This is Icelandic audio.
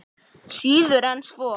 Síður en svo.